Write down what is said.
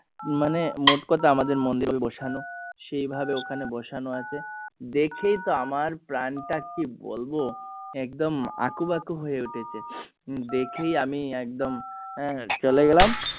মানে মোট কথা বসানো সেই ভাবে ওখানে বসানো আছে দেখেই তো আমার প্রাণ টা কি বলবো একদম আঁকুবাঁকু হয়ে উঠেছে দেখেই আমি একদম আহ চলে গেলাম